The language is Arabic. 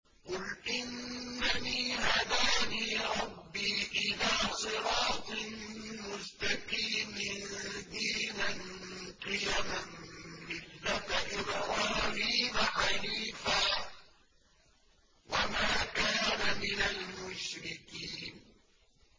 قُلْ إِنَّنِي هَدَانِي رَبِّي إِلَىٰ صِرَاطٍ مُّسْتَقِيمٍ دِينًا قِيَمًا مِّلَّةَ إِبْرَاهِيمَ حَنِيفًا ۚ وَمَا كَانَ مِنَ الْمُشْرِكِينَ